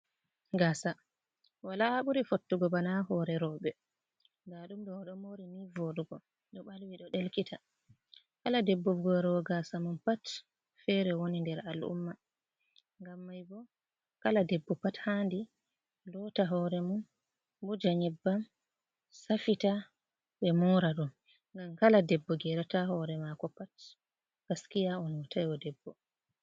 Gasa, wala ha buri fottugo banaa ha hore rawɓe. daɗumdoo odo mori nivooɗugo, ɗoo o balwi ɗo delkita, kala debbo morowo gasa mum pat fere woni nder al’umma, gam mai bo kala debbo pat handi lota horee mum wuuja nyebbam, safita, ɓe mora ɗum, gam kala debbo gerata horee mako pat gaskiya o notaywo o debbo.